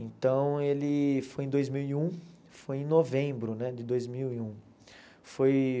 Então, ele foi em dois mil e um, foi em novembro, né, de dois mil e um. Foi